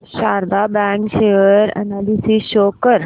Sharda bank share analysis show कर